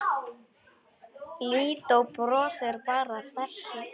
Lídó brosir bara að þessu.